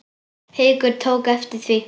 Haukur tók eftir því.